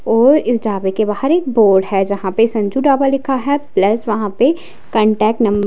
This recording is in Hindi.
और इस ढाबे के बाहर एक बोर्ड है जहां पे संजू ढाबा लिखा है प्लस वहां पे कांटेक्ट नंबर --